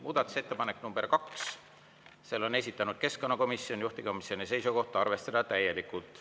Muudatusettepanek nr 2, selle on esitanud keskkonnakomisjon, juhtivkomisjoni seisukoht: arvestada täielikult.